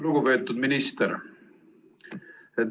Lugupeetud minister!